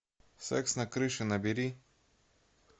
секс на крыше набери